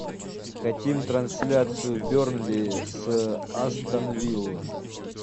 хотим трансляцию бернли с астон виллой